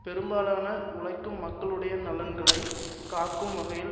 பெரும்பாலான உழைக்கும் மக்களுடைய நலன்களை காக்கும் வகையில்